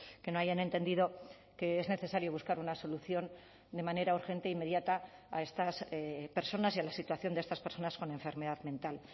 que no hayan entendido que es necesario buscar una solución de manera urgente e inmediata a estas personas y a la situación de estas personas con enfermedad mental